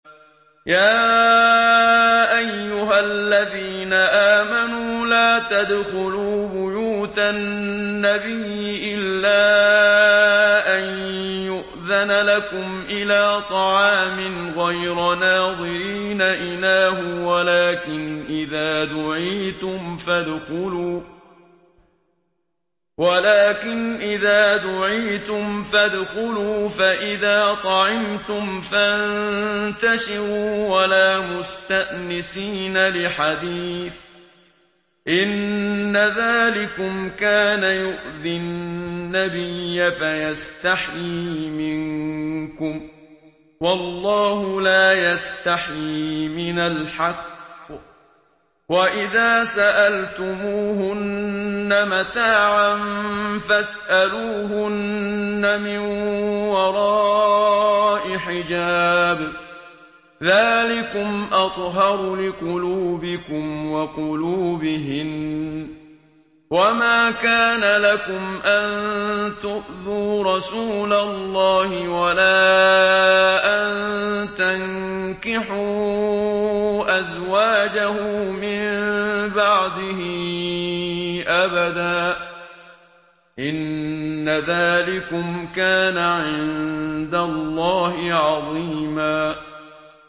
يَا أَيُّهَا الَّذِينَ آمَنُوا لَا تَدْخُلُوا بُيُوتَ النَّبِيِّ إِلَّا أَن يُؤْذَنَ لَكُمْ إِلَىٰ طَعَامٍ غَيْرَ نَاظِرِينَ إِنَاهُ وَلَٰكِنْ إِذَا دُعِيتُمْ فَادْخُلُوا فَإِذَا طَعِمْتُمْ فَانتَشِرُوا وَلَا مُسْتَأْنِسِينَ لِحَدِيثٍ ۚ إِنَّ ذَٰلِكُمْ كَانَ يُؤْذِي النَّبِيَّ فَيَسْتَحْيِي مِنكُمْ ۖ وَاللَّهُ لَا يَسْتَحْيِي مِنَ الْحَقِّ ۚ وَإِذَا سَأَلْتُمُوهُنَّ مَتَاعًا فَاسْأَلُوهُنَّ مِن وَرَاءِ حِجَابٍ ۚ ذَٰلِكُمْ أَطْهَرُ لِقُلُوبِكُمْ وَقُلُوبِهِنَّ ۚ وَمَا كَانَ لَكُمْ أَن تُؤْذُوا رَسُولَ اللَّهِ وَلَا أَن تَنكِحُوا أَزْوَاجَهُ مِن بَعْدِهِ أَبَدًا ۚ إِنَّ ذَٰلِكُمْ كَانَ عِندَ اللَّهِ عَظِيمًا